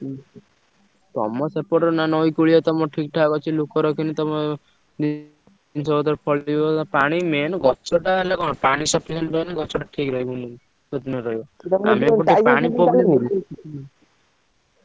ହୁଁ ତମ ସେପଟର ନା ନଈକୂଳିଆ ତମର ଠିକ୍ ଠାକ୍ ଅଛି ଲୋକ ରଖିଲେ ତମ ଜିନିଷ ପତ୍ର ଫଳିବ ପାଣି main ଗଛଟା ହେଲେ କଣ ପାଣି sufficient ହେଲେ ଗଛଟା ଠିକ୍ ରହିବ ଯତ୍ନରେ ରହିବ।